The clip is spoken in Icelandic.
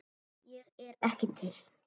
Ég er ekki til.